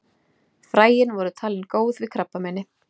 Fræin voru talin góð við krabbameini.